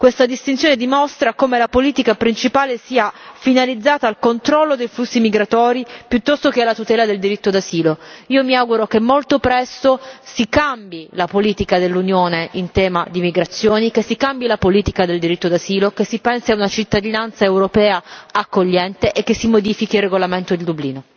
Questa distinzione dimostra come la politica principale sia finalizzata al controllo dei flussi migratori piuttosto che alla tutela del diritto d'asilo. Io mi auguro che molto presto si cambi la politica dell'Unione in tema di migrazioni, che si cambi la politica del diritto d'asilo, che si pensi a una cittadinanza europea accogliente e che si modifichi il regolamento di Dublino.